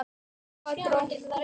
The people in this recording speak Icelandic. Hvar dó hann?